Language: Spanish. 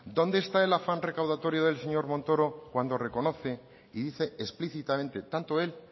dónde está en afán recaudatorio del señor montoro cuando reconoce y dice explícitamente tanto él